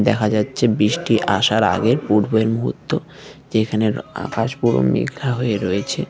দেখা যাচ্ছে বৃষ্টি আসার আগের পূর্বের মুহূর্ত যেখানের আকাশ পুরো মেঘলা হয়ে রয়েছে।